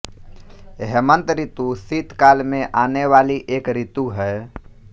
हेमन्त ऋतु शीतकाल में आने वाली एक ऋतु है